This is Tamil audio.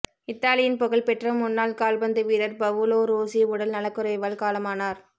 இத்தாலியின் புகழ்பெற்ற முன்னாள் கால்பந்து வீரர் பவுலோ ரோஸீ உடல் நலக்குறைவால் காலமானார்